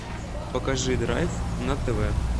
покажи драйв на тв